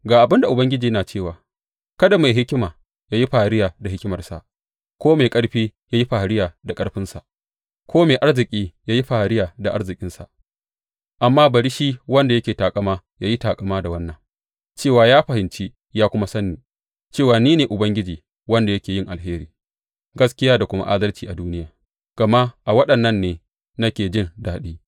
Ga abin da Ubangiji yana cewa, Kada mai hikima ya yi fariya da hikimarsa ko mai ƙarfi ya yi fariya da ƙarfinsa ko mai arziki ya yi fariya da arzikinsa, amma bari shi wanda yake taƙama ya yi taƙama da wannan, cewa ya fahimci ya kuma san ni, cewa ni ne Ubangiji, wanda yake yin alheri, gaskiya da kuma adalci a duniya, gama a waɗannan ne nake jin daɗi,